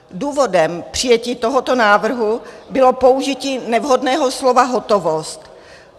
Důvodem přijetí tohoto návrhu bylo použití nevhodného slova "hotovost".